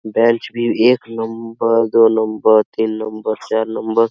bench भी एक number दो नंबर तीन नंबर चार नंबर --